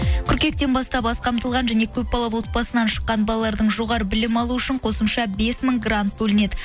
қыркүйектен бастап аз қамтылған және көпбалалы отбасынан шыққан балалардың жоғары білім алу үшін қосымша бес мың грант бөлінеді